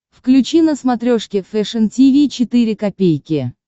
включи на смотрешке фэшн ти ви четыре ка